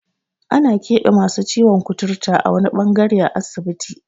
Ana keɓe masu ciwon kuturta a wani ɓangare a asibiti.